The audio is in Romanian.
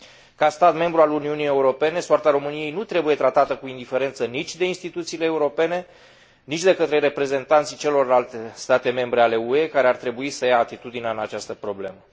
Ca stat membru al Uniunii Europene, soarta României nu trebuie tratată cu indiferență nici de instituțiile europene, nici de către reprezentanții celorlalte state membre ale UE, care ar trebui să ia atitudine în această problemă.